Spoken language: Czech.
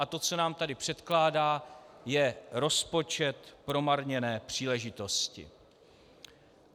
A to, co nám tady předkládá, je rozpočet promarněné příležitosti.